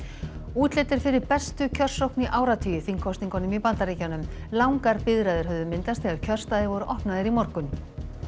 útlit er fyrir bestu kjörsókn í áratugi í þingkosningunum í Bandaríkjunum langar biðraðir höfðu myndast þegar kjörstaðir voru opnaðir í morgun